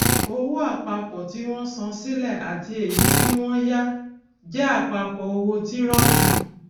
owó àpapọ tí wọn san sílẹ àti èyí tí wọn yá jẹ àpapọ owó tírọkì